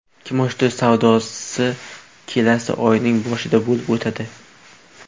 Kimoshdi savdosi kelasi oyning boshida bo‘lib o‘tadi.